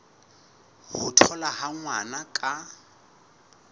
ho tholwa ha ngwana ka